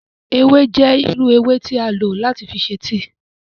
Ewe jẹ iru ewe ti a lo lati ṣe tíì.